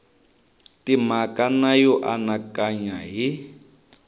timhaka na yo anakanya hi